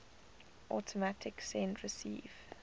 automatic send receive